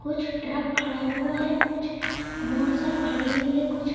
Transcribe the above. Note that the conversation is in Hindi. कुछ ट्रक खड़ा हुआ है कुछ मोटरसाइकिल खड़ी हुई है कुछ--